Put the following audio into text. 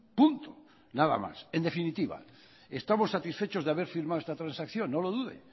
punto nada más en definitiva estamos satisfechos de haber firmado esta transacción no lo dude